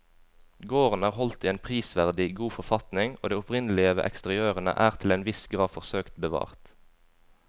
Gården er holdt i en prisverdig god forfatning og det opprinnelige ved eksteriørene er til en viss grad forsøkt bevart.